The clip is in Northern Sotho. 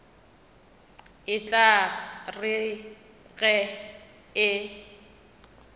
e tla re ge e